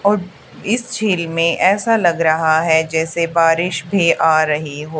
और इस झील में ऐसा लग रहा है जैसे बारिश भी आ रही हो।